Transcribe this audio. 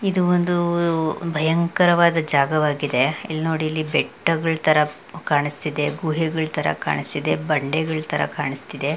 ಇದು ಒಂದು ಉ ಭಯಂಕರವಾದ ಜಾಗವಾಗಿದೆ ಇಲ್ ನೋಡಿ ಇಲ್ಲಿ ಬೆಟ್ಟಗಳ್ ತರಾ ಕಾಣಸ್ತಿದೆ ಗುಹೆಗಳ್ ತರಾ ಕಾಣಸ್ತಿದೆ ಬಂಡೆ ಗಳ್ ತರಾ ಕಾಣ್ ಸ್ತಿದೆ .